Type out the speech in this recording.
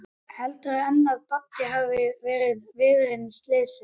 Heldurðu enn að Baddi hafi verið viðriðinn slysið?